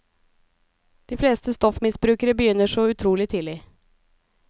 De fleste stoffmisbrukere begynner så utrolig tidlig.